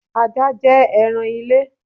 Ajá jẹ́ ẹran ile